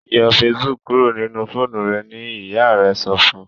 yọ Facebook kúrò nínú fóònù rẹ! ní ìyá rẹ sọfún